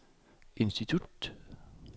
institut